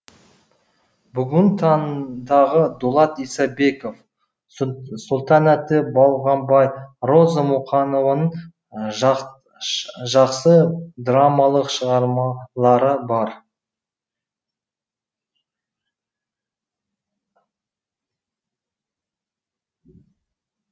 бүгінгі таңдағы дулат исабеков сұлтанәлі балғабай роза мұқанованың жақсы драмалық шығармалары бар